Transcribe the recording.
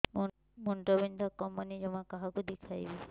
ମୁଣ୍ଡ ବିନ୍ଧା କମୁନି ଜମା କାହାକୁ ଦେଖେଇବି